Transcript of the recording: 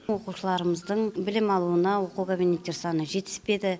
оқушыларымыздың білім алуына оқу кабинеттер саны жетіспеді